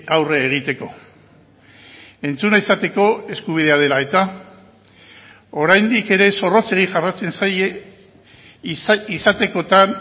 aurre egiteko entzuna izateko eskubidea dela eta oraindik ere zorrotzegi jarraitzen zaie izatekotan